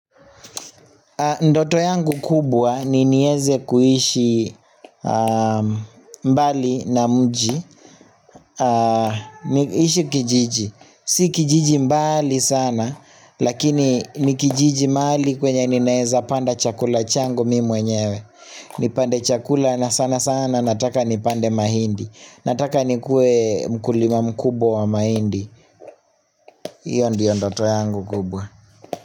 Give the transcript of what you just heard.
Ndoto yangu kubwa ni nieze kuishi mbali na mji niishi kijiji si kijiji mbali sana lakini ni kijiji mahali kwenye ninaeza panda chakula changu mi mwenyewe nipande chakula na sana sana nataka nipande mahindi nataka nikuwe mkulima mkubwa wa mahindi iyo ndiyo ndoto yangu kubwa.